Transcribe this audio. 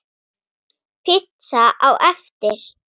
Pizza á eftir.